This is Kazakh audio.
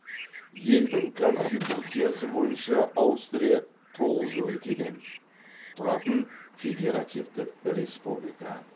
елдің конституциясы бойынша аустрия тоғыз өлкеден тұратын федеративтік республика